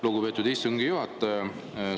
Lugupeetud istungi juhataja!